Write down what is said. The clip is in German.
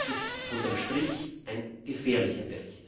Das ist unter dem Strich ein gefährlicher Bericht!